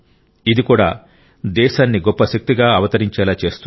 ఇది కూడా దేశాన్ని గొప్ప శక్తిగా అవతరించేలా చేస్తుంది